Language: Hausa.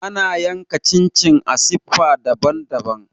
Ana yanka chin chin a siffa daban-daban.